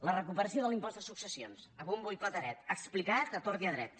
la recuperació de l’impost de successions a bombo i platerets explicat a tort i a dret